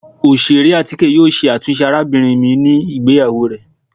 Oṣere atike yoo ṣe atunṣe arabinrin mi ni igbeyawo rẹ.